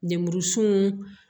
Lemuru sun